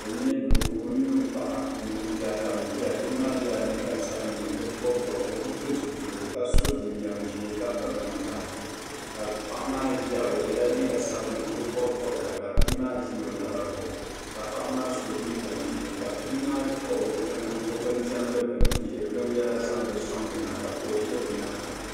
N nyɛ doo ni ɔ paɣa ni o biya doo maa yela liiga sabinli o bi pili zipiligu ka so jin jam ʒɛɛ ka piri namda. ka paɣa maa ʒiya ɔ yela liiga sabinli ɔ bi bɔbi bobga ka bii maa ʒi ɔ naba zuɣu , ka paɣa maa so jinjam ʒɛɛ, kabii maa kpuɣi ɔ bɛn demdi bini n yihiri bin yara zaŋdi sɔŋdi ma ka kuɣu ʒabɛ nyaaŋa.